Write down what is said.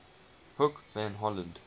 hoek van holland